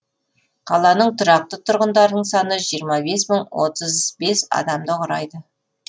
қаланың тұрақты тұрғындарының саны жиырма бес мың отыз бес адамды құрайды